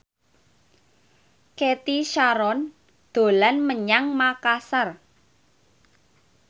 Cathy Sharon dolan menyang Makasar